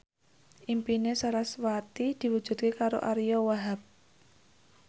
impine sarasvati diwujudke karo Ariyo Wahab